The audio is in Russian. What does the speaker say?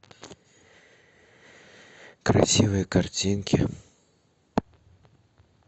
красивые картинки